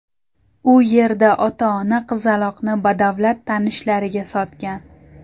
U yerda ota-ona qizaloqni badavlat tanishlariga sotgan.